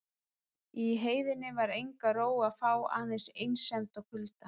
Í heiðinni var enga ró að fá aðeins einsemd og kulda.